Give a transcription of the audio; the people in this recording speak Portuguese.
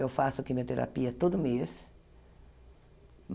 Eu faço quimioterapia todo mês.